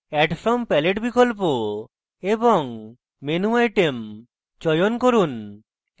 add from palette বিকল্প এবং menu item চয়ন from